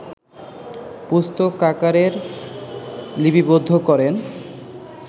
পুস্তকাকারে লিপিবদ্ধ করেন